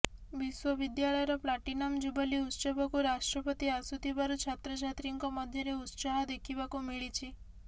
ବିଶ୍ୱବିଦ୍ୟାଳୟର platinum jubilee ଉତ୍ସବକୁ ରାଷ୍ଟ୍ରପତି ଆସୁଥିବାରୁ ଛାତ୍ରଛାତ୍ରୀଙ୍କ ମଧ୍ୟରେ ଉତ୍ସାହ ଦେଖିବାକୁ ମିଳିଛି